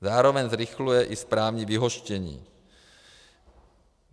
Zároveň zrychluje i správní vyhoštění.